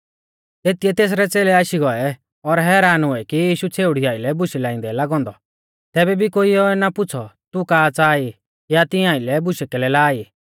तेतिऐ तेसरै च़ेलै आशी गौऐ और हैरान हुऐ कि यीशु छ़ेउड़ी आइलै बूशै लाइंदै लागौ औन्दौ तैबै भी कोइऐ ना पुछ़ौ तू का च़ाहा ई या तिंया आइलै बूशै कैलै ला ई